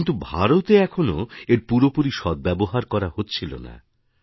কিন্তু ভারতে এখনও এর পুরোপুরি সদ্ব্যবহার করা হচ্ছিল না